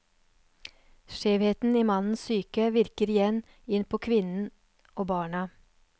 Skjevheten i mannens psyke virker igjen inn på kvinnen og barna.